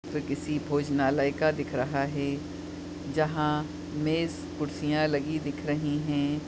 ये किसी भोजनालय का दिख रहा है जहा मेज़ कुर्सियाँ लगी दिख रहीं हैं।